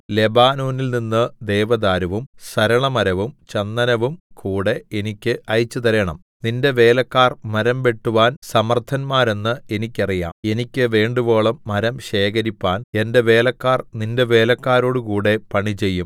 ലെബാനോനിൽനിന്ന് ദേവദാരുവും സരളമരവും ചന്ദനവും കൂടെ എനിക്ക് അയച്ചുതരേണം നിന്റെ വേലക്കാർ മരംവെട്ടുവാൻ സമർത്ഥന്മാരെന്ന് എനിക്കറിയാം എനിക്ക് വേണ്ടുവോളം മരം ശേഖരിപ്പാൻ എന്റെ വേലക്കാർ നിന്റെ വേലക്കാരോടുകൂടെ പണി ചെയ്യും